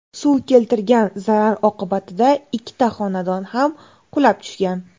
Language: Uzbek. Suv keltirgan zarar oqibatida ikkita xonadon ham qulab tushgan.